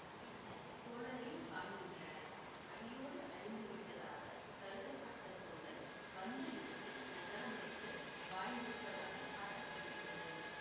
பின்னர் சோழரையும் காண்கிறனர் அடியோடு அழிந்து விட்டதாக கருதப்பட்ட சோழர் வந்த இடத்தில் நகரமைத்து வாழ்ந்திருப்பதாக காட்ட படுகிறது